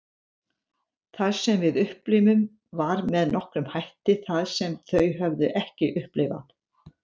Það sem við upplifðum var með nokkrum hætti það sem þau höfðu ekki upplifað.